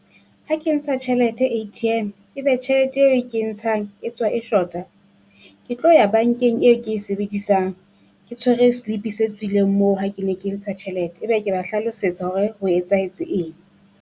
Ha ke ntsha tjhelete A_T_M, e be tjhelete eo ke ntshang e tswa e shota, ke tlo ya bankeng eo ke e sebedisang. Ke tshwere slip-i se tswileng moo ha ke ne ke ntsha tjhelete, ebe ke ba hlalosetsa hore ho etsahetse eng.